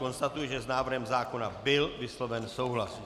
Konstatuji, že s návrhem zákona byl vysloven souhlas.